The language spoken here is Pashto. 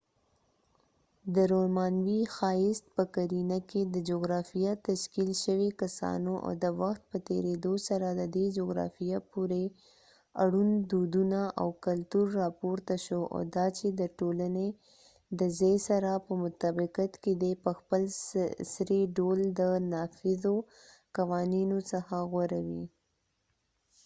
د رومانوې ښايست په قـَـرينه کي، د جغرافیه تشکیل شوي کسانو، او د وخت په تیریدو سره د دې جغرافیه پورې اړوند دودونه او کلتور راپورته شو، او دا چې د ټولنې د ځای سره په مطابقت کې دي، په خپل سري ډول د نافذو قوانینو څخه غوره وې۔